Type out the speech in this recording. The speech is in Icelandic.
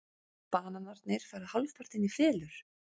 Bananarnir fara hálfpartinn í felur.